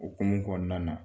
Okumu kɔnɔn nana